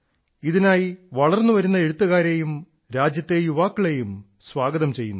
ഇതിനായി വളർന്നു വരുന്ന എഴുത്തുകാരെയും രാജ്യത്തെ യുവാക്കളെയും സ്വാഗതം ചെയ്യുന്നു